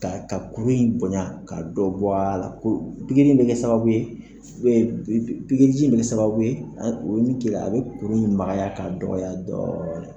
Ka ka kurun in bonya ka dɔ bɔ a la ko pikiri in bɛ kɛ sababu ye bɛ pikiriji bɛ kɛ sababu ye o min kɛ i a bɛ kuru in magaya k'a dɔgɔya dɔɔnin